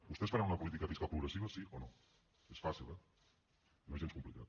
vostès faran una política fiscal progressiva sí o no és fàcil eh no és gens complicat